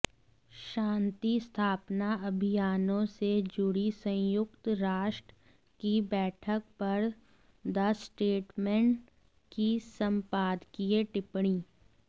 शांति स्थापना अभियानों से जुड़ी संयुक्त राष्ट् की बैठक पर द स्टेट्समैन की संपादकीय टिप्पणी